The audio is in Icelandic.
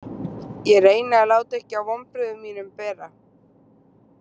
Ég reyni að láta ekki á vonbrigðum mínum bera.